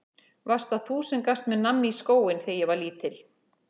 Varst það þú sem gafst mér nammi í skóinn þegar ég var lítill?